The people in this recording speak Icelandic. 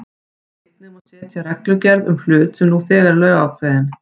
Einnig má ekki setja reglugerð um hlut sem nú þegar er lögákveðinn.